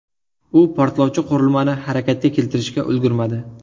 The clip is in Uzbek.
U portlovchi qurilmani harakatga keltirishga ulgurmadi.